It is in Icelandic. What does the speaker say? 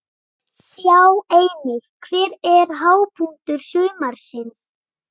Sjá einnig: Hver er hápunktur sumarsins?